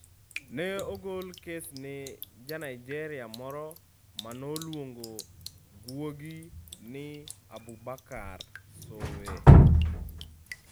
Ne ogol kes ne Ja - Nigeria moro ma noluongo guogi ni Abubakar Sowe.